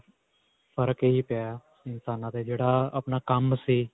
ਫ਼ਰਕ ਇਹੀ ਪਿਆ ਇਨਸਾਨਾਂ ਤੇ ਜਿਹੜਾ ਅਅ ਆਪਣਾ ਕੰਮ ਸੀ.